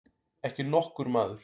Ekki nokkur maður.